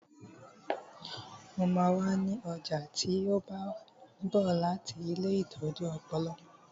Mo máa wà ní ọjà tí ó bá ń bọ̀ láti ilée ìtọ́jú ọpọlọ